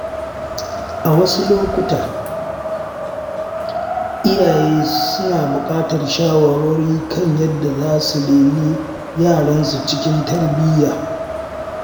A wasu lokuta, iyaye suna buƙatar shawarwari kan yadda za su reni yaransu cikin tarbiyya.